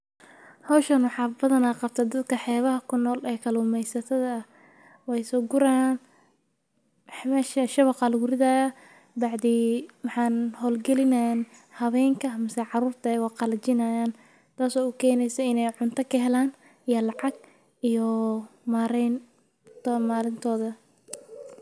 Hoshan waxaa badana qabtaa dadka bada kunol oo kalumesatadha eh wey sogurayan marka waxee ukenayan hawenka iyo carurta aya qalajinayan qelajinayan ibinayan sifa ee lacag oga helan marka sas waye.